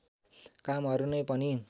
कामहरु नै पनि